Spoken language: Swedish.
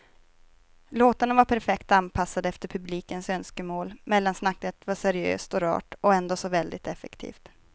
Låtarna var perfekt anpassade efter publikens önskemål, mellansnacket var seriöst och rart och ändå så väldigt effektivt.